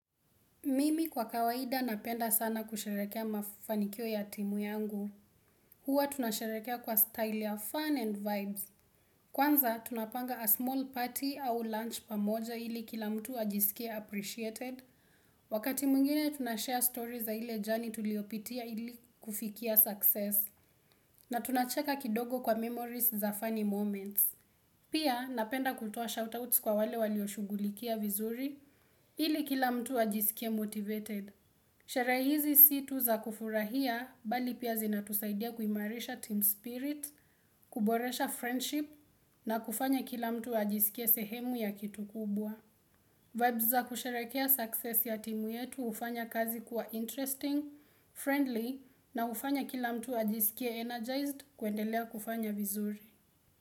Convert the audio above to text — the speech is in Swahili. Mimi kwa kawaida napenda sana kusherekea mafanikio ya timu yangu. Huwa tunasherekea kwa style ya fun and vibes. Kwanza tunapanga a small party au lunch pamoja ili kila mtu ajisikie appreciated. Wakati mwingine tunashare stories za ile journey tuliopitia ili kufikia success. Na tunacheka kidogo kwa memories za funny moments. Pia napenda kutoa shout-outs kwa wale walioshughulikia vizuri, ili kila mtu ajisikie motivated. Tarehe hizi si tu za kufurahia bali pia zinatusaidia kuimarisha team spirit, kuboresha friendship na kufanya kila mtu ajisikie sehemu ya kitu kubwa. Vibes za kusherekea success ya timu yetu hufanya kazi kuwa interesting, friendly na hufanya kila mtu ajisikie energized kuendelea kufanya vizuri.